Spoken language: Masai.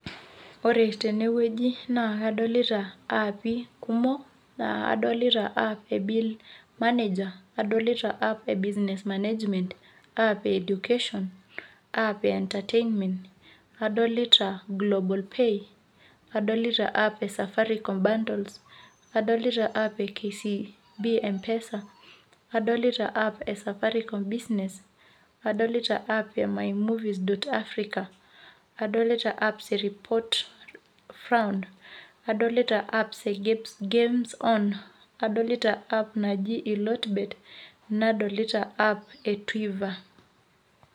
Ore tenewueji naa kadolita aappi kumok, naa adolita app e bill manager adolita app e business manager, app education, app entertainment adolita global pay adolita app e Safaricom bundles adolita app, KCB M-pesa adolita app e Safaricom business adolita app, my movie dot Africa adolta app, report found adolita apps, gapes games on adolita app naji Eelot bet, nadolita app, tweeter.